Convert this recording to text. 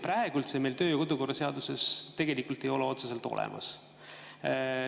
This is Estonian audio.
Praegu meil seda töö‑ ja kodukorra seaduses ei ole otseselt olemas.